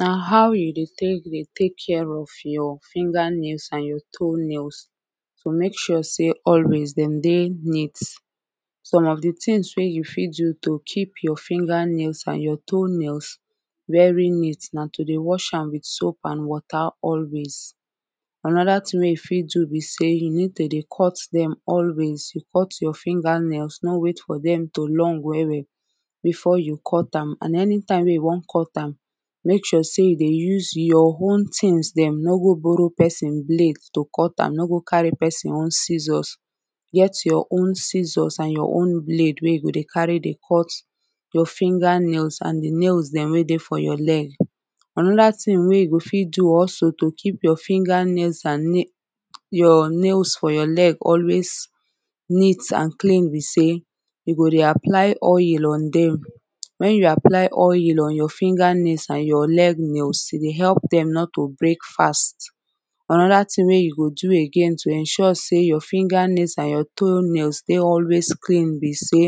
Na how you dey tek dey tek care of your finger nails an your toe nails to mek sure say always dem dey neat some of de tins wey you fit do to keep your finger nails an your toe nails very neat na to dey wash am wit soap an wata always. anoda tin wey you fit do be say you need to dey cut dem always you cut your finger nails no wait for dem to long well well before you cut am and anytime wey you wan cut am make sure say you dey use your own things dem no go borrow person blade to cut am no go carry person own scissors get your own scissors an your own blade wey you go dey carry dey cut your finger nails an de nails dem wey dey for your leg anoda tin wey you go fit do also to keep your finger nails an your nails for your leg always neat an clean be say you go dey apply oyel on dem wen you apply oyel on your finger nails an your leg nails e dey help dem not to break fast anoda tin wey you go do again to ensure say your finger nails an your toe nails dey always clean be say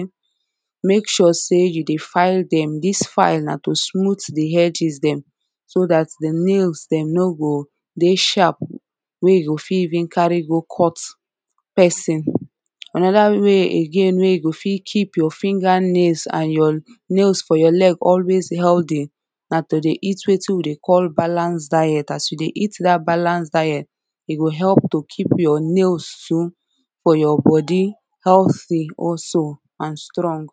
make sure say you dey file dem dis file na to smooth de edges dem so dat de nails dem no go dey sharp wey you go fit even carry go cut person anoda way again wey you go fit keep your finger nails an your nails for your leg always healthy na to dey eat wetin we dey call balanced diet as you dey eat dat balance diet e go help to keep your nails for your body healty also an strong